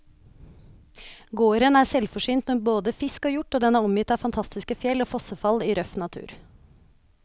Gården er selvforsynt med både fisk og hjort, og den er omgitt av fantastiske fjell og fossefall i røff natur.